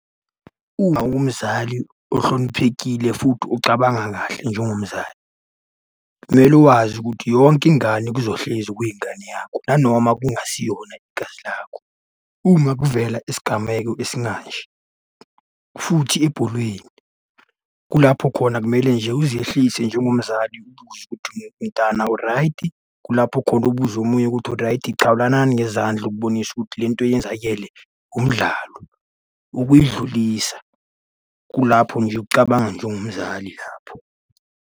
Uma ungumzali ohloniphekile futhi ocabanga kahle njengomzali, kumele wazi ukuthi yonke ingane kuzohlezi kuyingane yakho nanoma kungasiyona igazi lakho. Uma kuvela isigameko esimanje, futhi ebholweni kulapho khona kumele nje uzehlise njengomzali mntwana uraydi. Kulapho khona ubuze omunye ukuthi uraydi chawulanani ngezandla ukubonisa ukuthi le nto eyenzakele umdlalo, ukuyidlulisa. Kulapho nje ukucabanga njengomzali lapho.